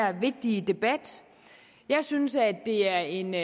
her vigtige debat jeg synes at det er en